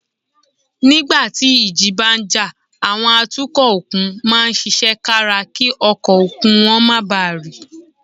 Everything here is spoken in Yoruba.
Nígbà tí ìjì bá ń jà, àwọn atukọ̀ òkun máa ń ṣiṣẹ́ kára kí ọkọ̀ òkun wọn má bàa rì